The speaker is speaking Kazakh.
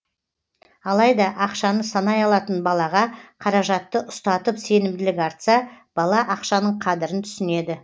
алайда ақшаны санай алатын балаға қаражатты ұстатып сенімділік артса бала ақшаның қадірін түсінеді